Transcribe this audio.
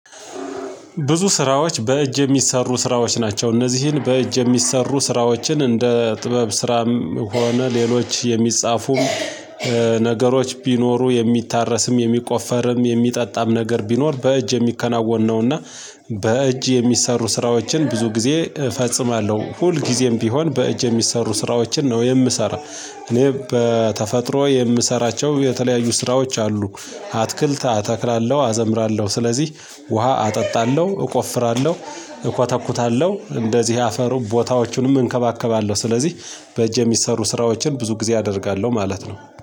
ብዙ ስራዎች በእጅ የሚሰሩ ስራዎች ናቸው እነዚህን በእጅ የሚሰሩ ስራዎችን እንደ ጥበብ ስራም ሆነ ሌሎች የሚጻፉም ነገሮች ቢኖሩ የሚታረስም የሚቆፈርም የሚጠጣም ነገር ቢኖር በእጅ የሚከናወን ነውና በእጅ የሚሰሩ ስራዎችን ብዙ ጊዜ እፈጽማለሁ። ሁልጊዜም ቢሆን በእጅ የሚሰሩ ስራዎችን ነው የምሰራው እኔ በተፈጥሮ የምሰራቸው የተለያዩ ስራዎች አሉ። አትክልት አተክላለሁ አዘምራለሁ ስለዚህ ውሃ አጠጣለሁ እቆፍራለሁ እኮተኩታለሁ እንደዚህ አፈሩ ቦታዎቹንም እንከባከባለሁ ስለዚህ በእጅ የሚሰሩ ስራዎችን ብዙ ጊዜ አደርጋለሁ ማለት ነው።